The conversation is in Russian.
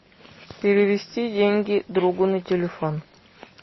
перевести деньги другу на телефон